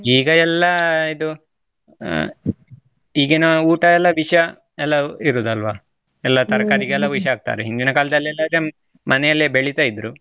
ಈಗ ಎಲ್ಲಾ ಇದು, ಅಹ್ ಈಗಿನ ಊಟ ಎಲ್ಲಾ ವಿಷಯ ಎಲ್ಲಾ ಇರುದು ಅಲ್ವಾ, ಎಲ್ಲಾ ವಿಷ ಹಾಕ್ತಾರೆ, ಹಿಂದಿನ ಕಾಲದಲ್ಲಿ ಎಲ್ಲಾ ಅದನ್ನ ಮನೆಯಲ್ಲೇ ಬೆಳಿತಾ ಇದ್ರು.